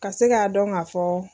Ka se k'a dɔn ka fɔ.